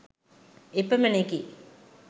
එපමණෙකි